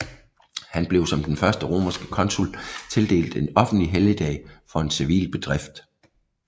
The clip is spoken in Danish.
Han blev som den første romerske consul tildelt en offentlig helligdag for en civil bedrift